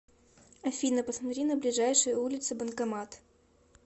афина посмотри на ближайшей улице банкомат